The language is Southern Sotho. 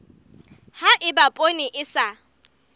ha eba poone e sa